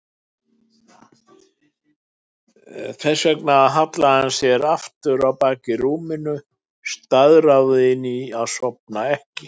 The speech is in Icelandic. Þess vegna hallaði hann sér aftur á bak í rúmið, staðráðinn í að sofna ekki.